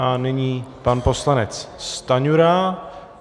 A nyní pan poslanec Stanjura.